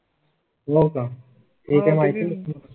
हो का ठीक आहे माहिती.